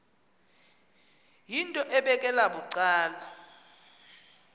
yinto ebekela bucala